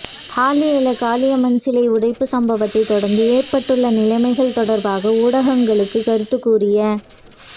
ஹாலிஎல காளியம்மன் சிலை உடைப்பு சம்பவத்தை தொடர்ந்து ஏற்பட்டுள்ள நிலைமைகள் தொடர்பாக ஊடகங்களுக்கு கருத்து கூறிய